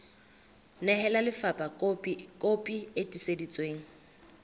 nehela lefapha kopi e tiiseditsweng